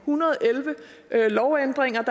hundrede og elleve lovændringer